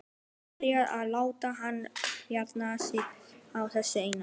Betra að láta hana jafna sig á þessu eina.